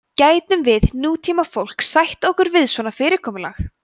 gætum við nútímafólk sætt okkur við svona fyrirkomulag